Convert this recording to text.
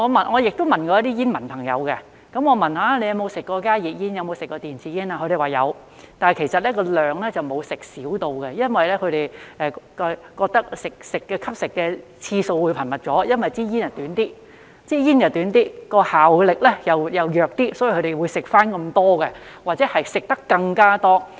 我亦曾詢問一些煙民朋友他們有否吸食加熱煙或電子煙，他們表示有，但其實吸煙量並沒有因而減少，反而是吸食得更頻密因為煙比較短、效力比較弱，所以他們認為吸食量一樣，甚至是更加多。